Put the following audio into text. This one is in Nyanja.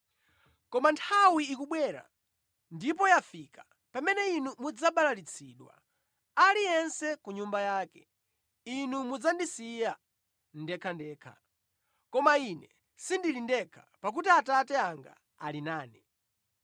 Koma nthawi ikubwera ndipo yafika, pamene inu mudzabalalitsidwa, aliyense ku nyumba yake. Inu mudzandisiya ndekhandekha. Koma Ine sindili ndekha, pakuti Atate anga ali nane.